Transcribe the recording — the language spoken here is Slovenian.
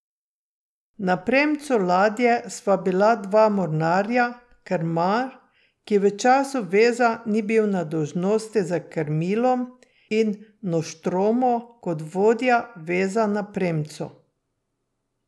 Na premcu ladje sva bila dva mornarja, krmar, ki v času veza ni bil na dolžnosti za krmilom, in noštromo kot vodja veza na premcu.